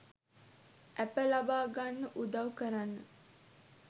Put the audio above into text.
ඇප ලබා ගන්න උදව් කරන්න